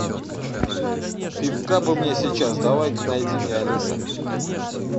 пивка бы мне сейчас давай ка найди мне алиса